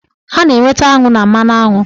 A na-enweta aṅụ na mmanụaṅụ